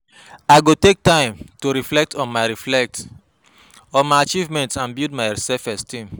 I go take time to reflect on my reflect on my achievements and build my self-esteem.